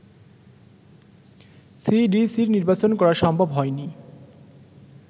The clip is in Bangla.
সিডিসির নির্বাচন করা সম্ভব হয়নি